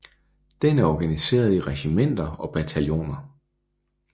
Den er organiseret i regimenter og bataljoner